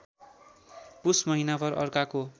पुस महिनाभर अर्काको